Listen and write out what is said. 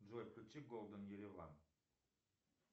джой включи голден ереван